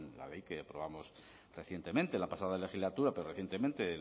la ley que aprobamos recientemente en la pasada legislatura pero recientemente en